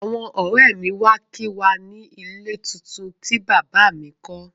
Àwọn ọ̀rẹ́ mi wá kí wa ni ilé tuntun tí bàbá a mi kọ́